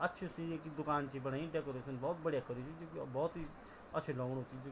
अच्छी सी ये ऐक दुकान च बणायि डेकोरेशन बहौत बडिया कर्यू बहौत ही अच्छी लगणू।